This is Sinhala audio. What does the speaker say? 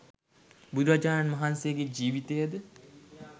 බුදුරජාණන් වහන්සේගේ ජීවිතය ද